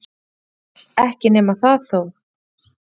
Erkiengill, ekki nema það þó.